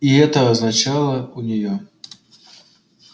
и это означало у неё